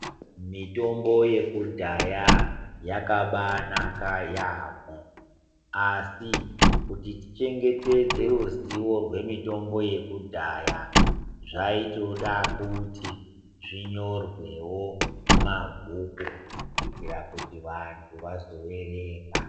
Mitombo yeku dhaya yakabai naka yamho asi kuti tichengetedze ruzivo rwemitombo yekudhaya zvaitoda kuti zvinyorwewo muma bhuku kuitira kuti vandu vazo verenga.